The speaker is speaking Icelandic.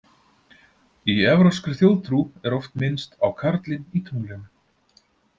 Í evrópskri þjóðtrú er oft minnst á karlinn í tunglinu.